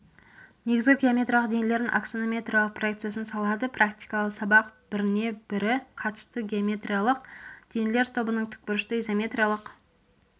негізгі геометриялық денелердің аксонометриялық проекциясын салады практикалық сабақ біріне бірі қатысты геометриялық денелер тобының тікбұрышты изометриялық